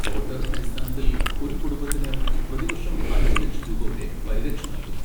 Floater അടിസ്ഥാനത്തിൽ ഒരു കുടുംബത്തിന് പ്രതിവർഷം അഞ്ച് ലക്ഷം രൂപ വരെ പരിരക്ഷ നൽകുന്നു.